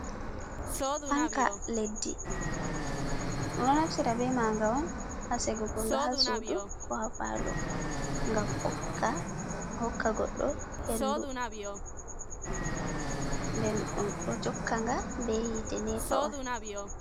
Fanka leddi ɗum ɗo naftira be maaga on haa sigugo nga haa sudu ko haa palo ngam ɓokka hokka goɗɗo hendu, nden ɗum ɗo jokka nga be hite nepa on.